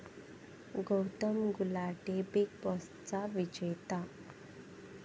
Gautam Gulati 'big बॉस'चा विजेता